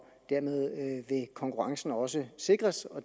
dermed vil konkurrencen også sikres og